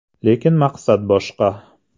Lekin maqsad boshqa.